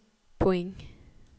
point